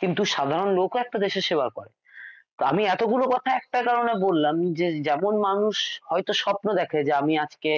কিন্তু সাধারণ লোক একটা দেশের সেবা করে তো আমি এতগুলো কথা একটা কারণে বললাম যে যেমন মানুষ হয়ত স্বপ্ন দেখে আমি আজকে